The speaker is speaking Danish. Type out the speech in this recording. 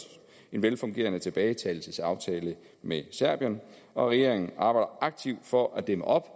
en velfungerende tilbagetagelsesaftale med serbien regeringen arbejder aktivt for at dæmme op